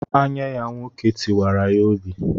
Anye ya nwoke tiwara ya obi.